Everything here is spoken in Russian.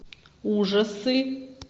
ужасы